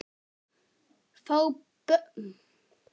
Fá Björn Val í það?